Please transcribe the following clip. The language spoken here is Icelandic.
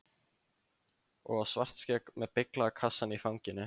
Og á Svartskegg með beyglaða kassann í fanginu.